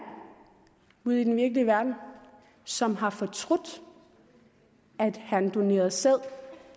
ude i den virkelige verden som har fortrudt at han donerede sæd